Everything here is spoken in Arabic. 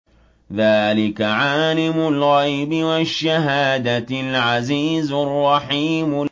ذَٰلِكَ عَالِمُ الْغَيْبِ وَالشَّهَادَةِ الْعَزِيزُ الرَّحِيمُ